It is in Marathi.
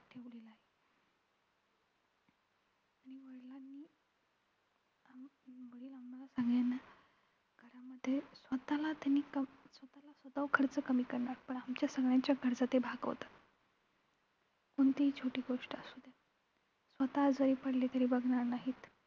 आम्हां सगळ्यांना घरामध्ये स्वतःला त्यांनी आगाऊ खर्च कमी केलाय. आमच्या सगळ्यांच्या गरजा ते भागवतात. कोणतीही छोटी गोष्ट असू देत स्वतः आजारी पडले तरी बघणार नाहीत.